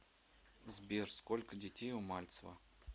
сбер сколько детей у мальцева